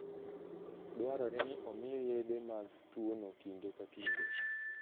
Dwarore ni omiye yedhe mag tuwono kinde ka kinde.